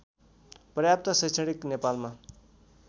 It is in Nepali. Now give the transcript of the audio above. पर्याप्त शैक्षणिक नेपालमा